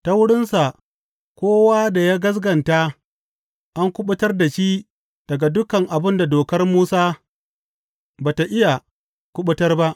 Ta wurinsa kowa da ya gaskata an kuɓutar da shi daga dukan abin da Dokar Musa ba tă iya kuɓutar ba.